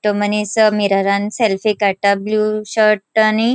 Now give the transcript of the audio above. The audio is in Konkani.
तो मनीस अ मिररान सेल्फी काडटा ब्लू शर्ट आणि --